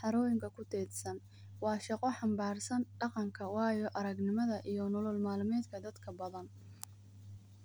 xaroyinka kudedsan wa shaqo hambarsan daqanka wayo aragnamdha iyo nolool malmedka dadka badan.